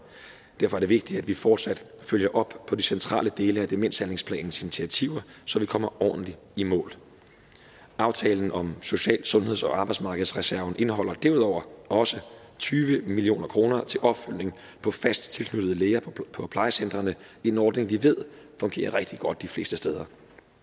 derfor er det vigtigt at vi fortsat følger op på de centrale dele af demenshandlingsplanens initiativer så vi kommer ordentligt i mål aftalen om social sundheds og arbejdsmarkedsreserven indeholder derudover også tyve million kroner til opfølgning på fast tilknyttede læger på plejecentrene en ordning som vi ved fungerer rigtig godt de fleste steder